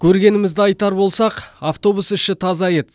көргенімізді айтсар болсақ автобус іші таза еді